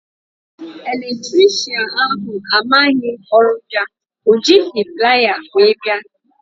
Eletricịanahụ amaghị ọrụ ya, ọ jighị plier wee bịa